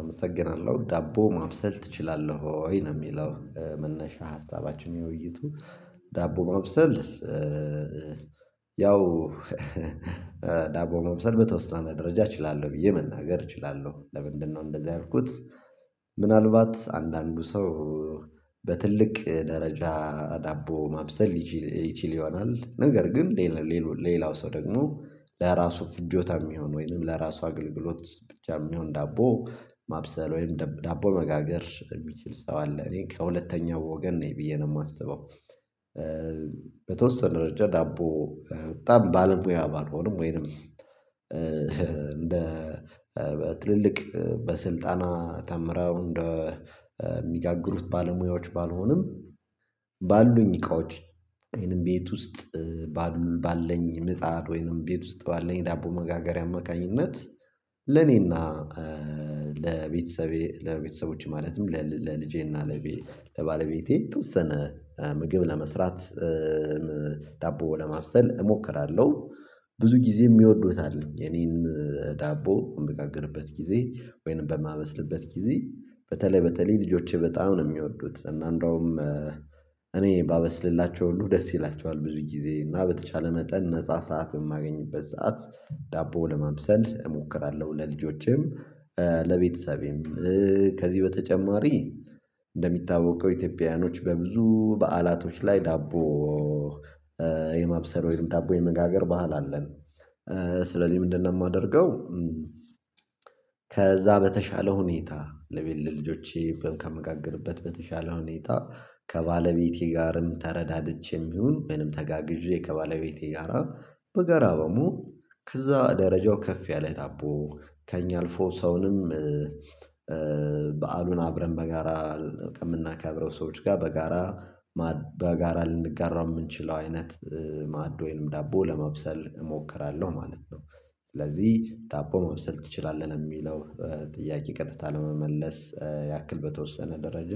አመሰግናለሁ ዳቦ ማብሰል ትችላለህ ወይ? ነው የሚለው መነሻ ሀሳባችን የውይይቱ ዳቦ ማብሰል ያው ዳቦ ማብሰል በተወሰነ ደረጃ እችላለሁ ብዬ መናገር እችላለሁ ለምንድነው እንደዛ ያልኩት። ምናልባት አንዳንድ ሰው በትልቅ ደረጃ ዳቦ ማብሰል ይችል ይሆናል ነገር ግን ሌላ ሌላው ሰው ደግሞ ለራሱ ፍጆታ የሚሆን ወይም ለራሱ አገልግሎት ብቻ የሚሆን ዳቦ ማብሰል ወይም ዳቦ መጋገር የሚችል ሰው አለ እኔ ከሁለተኛው ወገን ነኝ ብዬ ነው የማስበው። በተወሰነ ረጅም ዳቦ በጣም ባለሙያ ባልሆንም ወይም እንደ ትልልቅ በስልጠና ተምረው እንደሚጋግሩት ባለሙያዎች ባልሆንም ባሉኝ እቃዎች ወይም ቤት ውስጥ ባለኝ ምጣድ ወይም ቤት ውስጥ ባለኝ ዳቦ መጋገሪያ አማካኝነት ለእኔና ለቤተሰቤ ለቤተሰቦቼ ማለትም ለልጄና ለባለቤቴ የተወሰነ ምግብ ለመስራት ዳቦ ለማብሰል እሞክራለሁ። ብዙ ጊዜ የሚወዱት አለኝ የኔን ዳቦ በምጋግርበት ጊዜ ወይም በማበስልበት ጊዜ በተለይ በተለይ ልጆቼ በጣም ነው የሚወዱት እና አንደውም እኔ ባበስልላቸው ሁሉ ደስ ይላቸዋል ብዙ ጊዜ እና በተቻለ መጠን ነፃ ሰዓት በማገኝበት ሰዓት ዳቦ ለማብሰል እሞክራለሁ። ለልጆቼም ለቤተሰቤም ከዚህ በተጨማሪ እንደሚታወቀው ኢትዮጵያውያኖች በብዙ በዓላቶች ላይ ዳቦ የማብሰል ወይም ዳቦ የመጋገር ባህል አለን። ለዚህ ምንድነው የማደርገው? ከዛ በተሻለ ሁኔታ ለቤት ለልጆቼ ከምጋግርበት በተሻለ ሁኔታ ከባለቤቴ ጋርም ተረዳድቼም ይሁን ወይም ተጋግዤ ከባለቤቴ ጋራ በጋራ ከዛ ደረጃው ከፍ ያለ ዳቦ ከእኛ አልፎ ሰውንም በዓሉን አብረን በጋራ የምናከብራቸው ሰዎች ጋር በጋራ ልንጋራ የምንችለው አይነት ማዕድ ወይም ዳቦ ለማብሰል እሞክራለሁ ማለት ነው። ስለዚህ ዳቦ ማብሰል ትችላለህ ለሚለው ጥያቄ ቀጥታ ለመመለስ ያክል በተወሰነ ደረጃ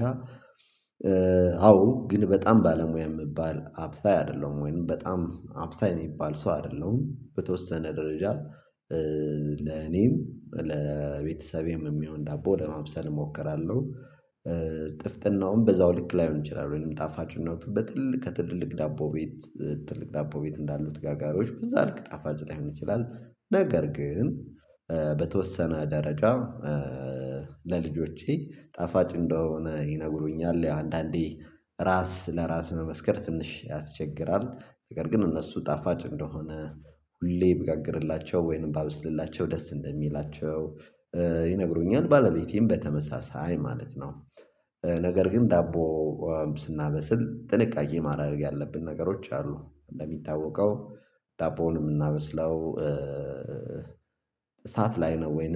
አዎ ግን በጣም ባለሙያ የምባል አብሳይ አይደለሁም። ወይም በጣም አብሳይ የሚባል ሰው አይደለሁም በተወሰነ ደረጃ ለኔም ለቤተሰቤም የሚሆን ዳቦ ለማብሰል እሞክራለሁ። ጥፍጥናው በዛው ልክ ላይሆን ይችላል ወይም ጣፋጭነቱ በትልቅ ከትልልቅ ዳቦ ቤት እንዳሉት ጋጋሪዎች በዛ ልክ ጣፋጭ ላይሆን ይችላል። ነገር ግን በተወሰነ ደረጃ ለልጆቼ ጣፋጭ እንደሆነ ይነግሩኛል ያው አንዳንዴ ራስ ለራስ መመስከር ትንሽ ያስቸግራል ነገር ግን እነሱ ጣፋጭ እንደሆነ ሁሌ ብጋግርላቸው ወይም ባበስልላቸው ደስ እንደሚላቸው ይነግሩኛል ባለቤቴም በተመሳሳይ ማለት ነው። ነገር ግን ዳቦ ስናበስል ጥንቃቄ ማድረግ ያለብን ነገሮች አሉ። እንደሚታወቀው ዳቦውን የምናበስለው እሳት ላይ ነው ወይም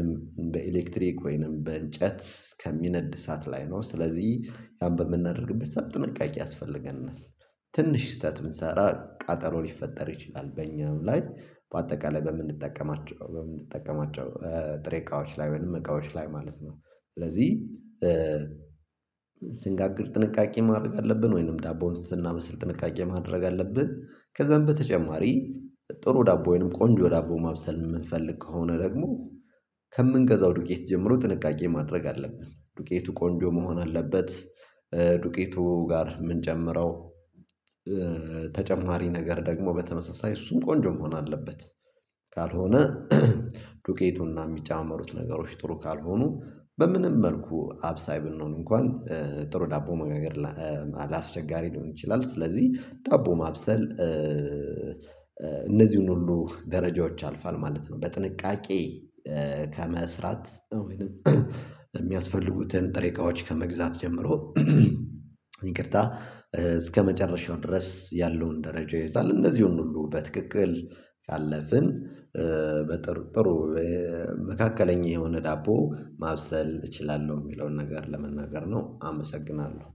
በኤሌክትሪክ ወይም በእንጨት ከሚነድ እሳት ላይ ነው ስለዚህ ያን በምናደርግበት ሰዓት ጥንቃቄ ያስፈልገናል። ትንሽ ስህተት ብንሰራ ቃጠሎ ሊፈጠር ይችላል በእኛ ላይ በአጠቃላይ በምንጠቀማቸው በምንጠቀማቸው ጥሬ እቃዎች ላይ ወይም እቃዎች ላይ ማለት ነው። ስለዚህ ስንጋግር ጥንቃቄ ማድረግ አለብን ወይም ዳቦውን ስናበስል ጥንቃቄ ማድረግ አለብን። ከዛም በተጨማሪ ጥሩ ዳቦ ወይም ቆንጆ ዳቦ ማብሰል የምንፈልግ ከሆነ ደግሞ ከምንገዛው ዱቄት ጀምሮ ጥንቃቄ ማድረግ አለብን ዱቄቱ ቆንጆ መሆን አለበት። ዱቄቱ ጋር የምንጨምረው ተጨማሪ ነገር ደግሞ በተመሳሳይ እሱም ቆንጆ መሆን አለበት። ካልሆነ ዱቄቱና የሚጨማመሩት ነገሮች ጥሩ ካልሆኑ በምንም መልኩ አብሳይ ብንሆን እንኳን ጥሩ ዳቦ መጋገር አስቸጋሪ ሊሆን ይችላል። ስለዚህ ዳቦ ማብሰል እነዚህን ሁሉ ደረጃዎች ያልፏል ማለት ነው። በጥንቃቄ ከመስራት ወይም የሚያስፈልጉትን ጥሬ እቃዎች ከመግዛት ጀምሮ ይቅርታ እስከመጨረሻው ድረስ ያለውን ደረጃ ይይዛል። እነዚህን ሁሉ በትክክል ካለፍን በጥሩ መካከለኛ የሆነ ዳቦ ማብሰል እችላለሁ የሚለውን ነገር ለመናገር ነው። አመሰግናለሁ